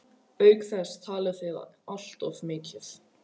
Auk þess talið þið alltof mikið.